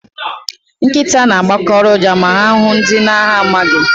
Nkịta na-agbọkarị ụja ma ha hụụ ndị ha na-amaghị.